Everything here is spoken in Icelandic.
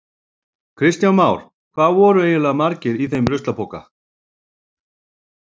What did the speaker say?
Kristján Már: Hvað voru eiginlega margir í þeim ruslapoka?